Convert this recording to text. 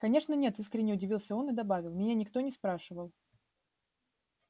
конечно нет искренне удивился он и добавил меня никто не спрашивал